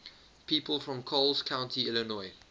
people from coles county illinois